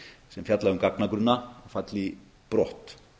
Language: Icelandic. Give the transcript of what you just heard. sem fjalla um gagnagrunna falli brott